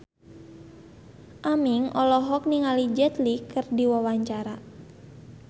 Aming olohok ningali Jet Li keur diwawancara